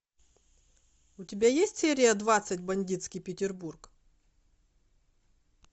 у тебя есть серия двадцать бандитский петербург